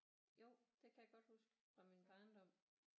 Jo det kan jeg godt huske fra min barndom